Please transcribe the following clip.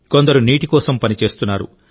కొందరు నీటి కోసం పనిచేస్తున్నారు